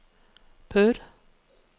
Perth